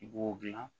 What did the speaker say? I b'o gilan